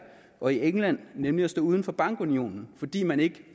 og england nemlig at stå uden for bankunionen fordi man ikke